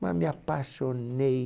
Mas me apaixonei.